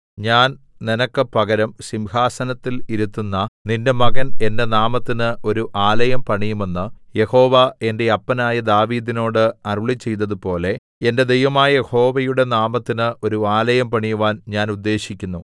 ഞാൻ നിനക്ക് പകരം സിംഹാസനത്തിൽ ഇരുത്തുന്ന നിന്റെ മകൻ എന്റെ നാമത്തിന് ഒരു ആലയം പണിയുമെന്ന് യഹോവ എന്റെ അപ്പനായ ദാവീദിനോട് അരുളിച്ചെയ്തതുപോലെ എന്റെ ദൈവമായ യഹോവയുടെ നാമത്തിന് ഒരു ആലയം പണിവാൻ ഞാൻ ഉദ്ദേശിക്കുന്നു